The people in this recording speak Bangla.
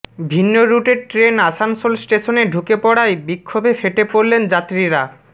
ভিন্ন রুটের ট্রেন আসানসোল স্টেশনে ঢুকে পড়ায় বিক্ষোভে ফেটে পড়লেন যাত্রীরা